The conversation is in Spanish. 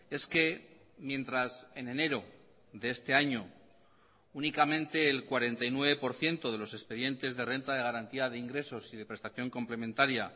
es que mientras en enero de este año únicamente el cuarenta y nueve por ciento de los expedientes de renta de garantía de ingresos y de prestación complementaria